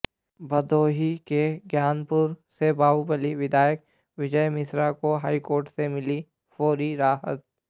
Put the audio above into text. भदोही के ज्ञानपुर से बाहुबली विधायक विजय मिश्रा को हाईकोर्ट से मिली फौरी राहत